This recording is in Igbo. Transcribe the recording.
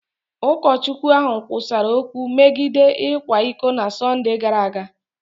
Ụkọchukwu ahụ kwusara okwu megide ịkwa iko na Sọnde gara aga.